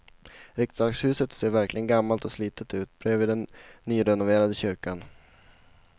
Riksdagshuset ser verkligen gammalt och slitet ut bredvid den nyrenoverade kyrkan.